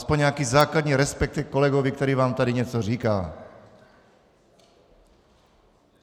Alespoň nějaký základní respekt ke kolegovi, který vám tady něco říká.